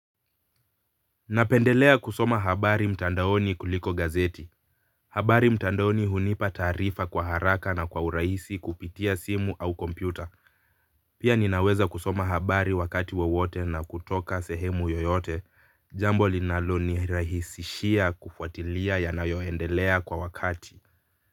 Napendelea kusoma habari mtandaoni kuliko gazeti habari mtandaoni hunipa taarifa kwa haraka na kwa urahisi kupitia simu au kompyuta. Pia ninaweza kusoma habari wakati wowote na kutoka sehemu yoyote jambo linalo nirahisishia kufuatilia ya nayoendelea kwa wakati.